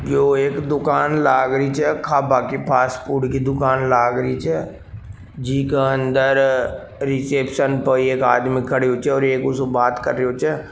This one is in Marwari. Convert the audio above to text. यो एक दुकान लाग रही छ खाबा की फासफूड की दुकान लाग रही छ जीके अन्दर रिसेप्शन पे एक आदमी खड़यो छ और एक उससे बात करियो छ।